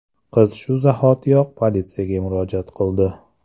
Qiz shu zahotiyoq politsiyaga murojaat qildi.